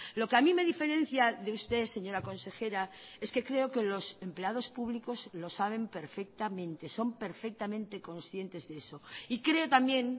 lo que a mí me diferencia de usted señora consejera es que creo que los empleados públicos lo saben perfectamente son perfectamente conscientes de eso y creo también